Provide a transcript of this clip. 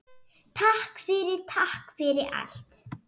Takk fyrir, takk fyrir allt.